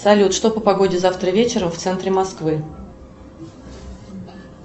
салют что по погоде завтра вечером в центре москвы